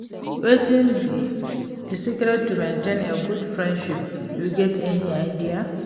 Wetin be di secret to maintain a good friendship, you get any idea?